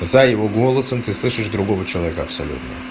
за его голосом ты слышишь другого человека абсолютно